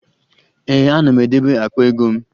Ee, ana m edebe akpa ego m